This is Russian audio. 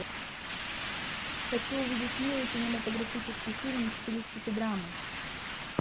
хочу увидеть милый кинематографический фильм в стилистике драмы